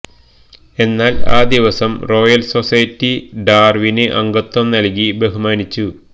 എന്നാൽ ആ ദിവസം റോയൽ സൊസൈറ്റി ഡാർവിന് അംഗത്വം നൽകി ബഹുമാനിച്ചു